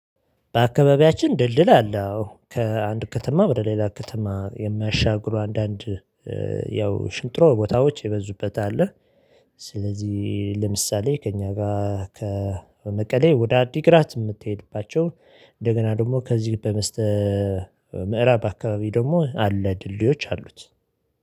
በአካባቢያችን ድልድል አለ። አዎ ከአንድ ከተማ በሌላ ከተማ የሚያሻግሩ አንዳንድ ያው ሽንጥሮ ቦታዎች የበዙበት አለ። ስለዚህ ለምሳሌ ከእኛ ጋር ከመቀሌ ወደ አዲግራት የምትሄድባቸው እንደገና ደግሞ ከዚህ በመስተ ምዕራብ አካባቢ ደግሞ አለ ድልድዮች አሉት።